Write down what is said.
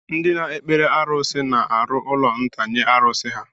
Ndị na-ekpere arusi na-arụ ụlọ nta nye arusi ha.